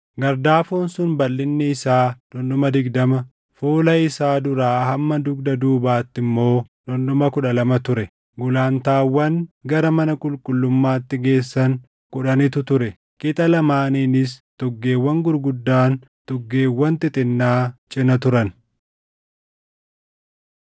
Gardaafoon sun balʼinni isaa dhundhuma digdama, fuula isaa duraa hamma dugda duubaatti immoo dhundhuma kudha lama ture. Gulantaawwan gara mana qulqullummaatti geessan kudhanitu ture; qixa lamaaniinis tuggeewwan gurguddaan, tuggeewwan xixinnaa cina turan.